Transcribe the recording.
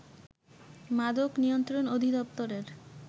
মাদক নিয়ন্ত্রণ অধিদপ্তরের